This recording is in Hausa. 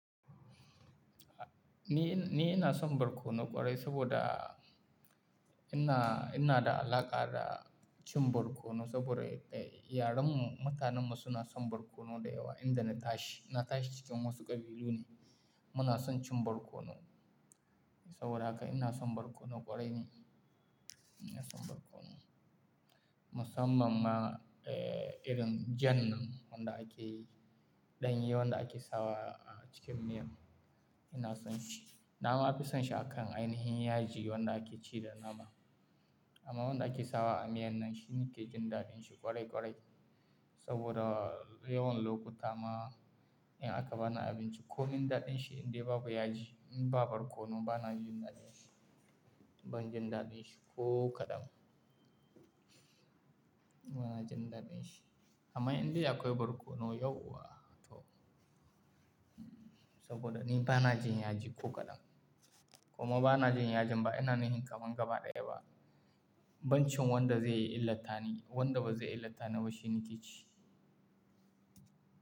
Ni, ni ina son barkono ƙwarai saboda ina, ina da alaƙa da cin barkono saboda eh, yaren mu, mutanen mu suna son barkono da yawa. Inda na tashi, na tashi cikin wasu ƙabilu ne muna son cin barkono. Saboda haka ina son barkono ƙwarai ni. Ina son barkono. Musamman ma eh, irin jan nan wanda ake yi, ɗanye wanda ake sawa a cikin miyar. Ina son shi. Na ma fi son shi akan ainihin yaji wanda ake ci da nama. Amma wanda ake sawa a miyan nan shi ni ke jin daɗin shi ƙwarai ƙwarai. Saboda yawan lokuta ma in aka bani abinci ko min daɗin shi indai ba baya ji, in ba barkono bana jin daɗin shi. Ban jin daɗin shi ko kadan. Bana jin daɗin shi. Amma indai akwai barkono yauwa to. Saboda ni bana jin yaji ko kadan. Kuma bana jin yajin ba ina ni hin kamangaba ɗaya ba. Banci wanda zai yi illata ni, wanda ba zai illata ni ba shi ni ke ci.